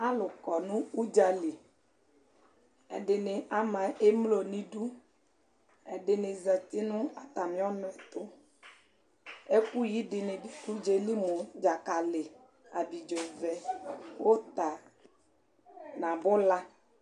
Alʋ kɔ nʋ ʋdza li : ɛdɩnɩ ama emlo n'idu, ɛdɩnɩ zati nʋ atamɩɔnʋ ɛtʋ Ɛkʋyi dɩnɩ dʋ ʋdzaɛ li mʋ : dzakalɩ , abidzovɛ , ʋta n'abʋla